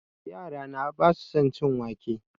Yara na ba sa son cin wake